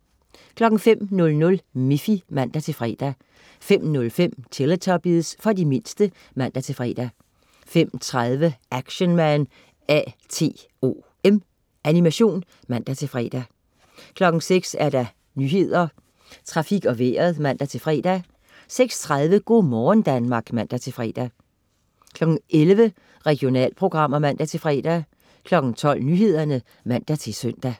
05.00 Miffy (man-fre) 05.05 Teletubbies. For de mindste (man-fre) 05.30 Action Man A.T.O.M. Animation (man-fre) 06.00 Nyhederne, Trafik og Vejret (man-fre) 06.30 Go' morgen Danmark (man-fre) 11.00 Regionalprogrammer (man-fre) 12.00 Nyhederne (man-søn)